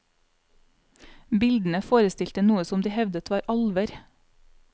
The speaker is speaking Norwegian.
Bildene forestilte noe som de hevdet var alver.